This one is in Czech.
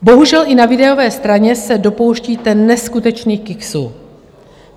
Bohužel, i na výdajové straně se dopouštíte neskutečných kiksů.